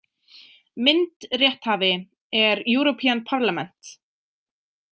Myndrétthafi er European Parliament.